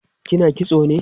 kina kitso ne?